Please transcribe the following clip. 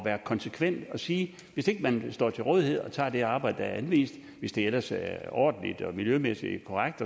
være konsekvent og sige hvis ikke man står til rådighed og tager det arbejde der er anvist hvis det ellers er ordentligt og miljømæssigt korrekt